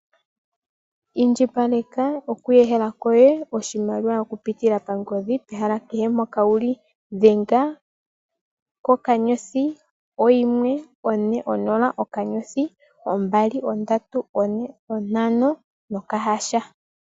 Indjipaleka okuhehela koye oshimaliwa oku pitila pangodhi, kehe mpoka wuli. Dhenga, okanyodhi, oyimwe, one, onola nokanyothi, ombali, ondatu, one, ontano nokahasha.